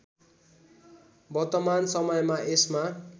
वर्तमान समयमा यसमा